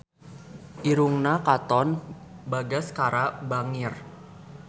Irungna Katon Bagaskara bangir